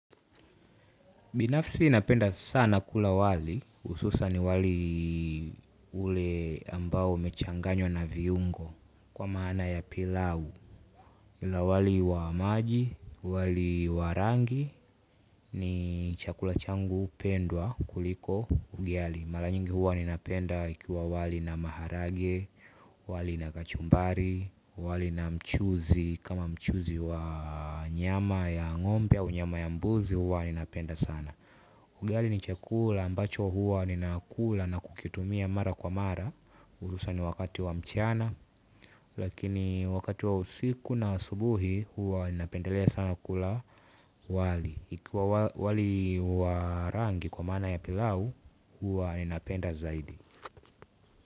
Binafisi napenda sana kula wali, hususa ni wali ule ambao umechanganywa na viungo kwa maana ya pilau. Kuna wali wa maji wali wa rangi ni chakula changu pendwa kuliko ugali. Mara nyingi huwa ninapenda ikiwa wali na maharage, wali na kachumbari, wali na mchuzi, kama mchuzi wa nyama ya ngombe au nyama ya mbuzi huwa ninapenda sana. Ugali ni chakula ambacho huwa ninakula na kukitumia mara kwa mara Urusa ni wakati wa mchana. Lakini wakati wa usiku na asubuhi huwa ninapendelea sana kula wali ikua wali wa rangi kwa maana ya pilau huwa ninapenda zaidi.